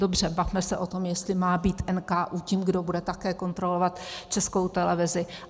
Dobře, bavme se o tom, jestli má být NKÚ tím, kdo bude také kontrolovat Českou televizi.